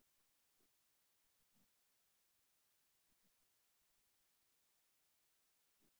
Barashada ka qaybqaadashadu waxay dhiirigelisaa ka qaybgalka iyo iskaashiga ardayga.